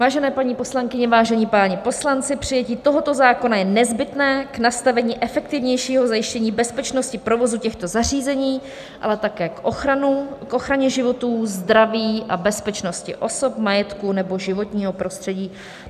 Vážené paní poslankyně, vážení páni poslanci, přijetí tohoto zákona je nezbytné k nastavení efektivnějšího zajištění bezpečnosti provozu těchto zařízení, ale také k ochraně životů, zdraví a bezpečnosti osob, majetku nebo životního prostředí.